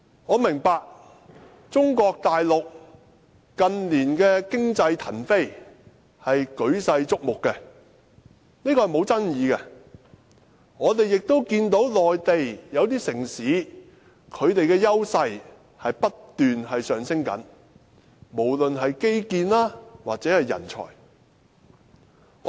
我明白中國大陸近年經濟騰飛，舉世矚目，這是沒有爭議的，我們也看到內地一些城市的優勢不斷上升，無論是基建或人才。